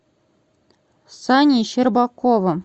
саней щербаковым